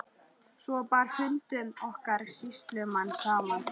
Svo bar fundum okkar sýslumanns saman.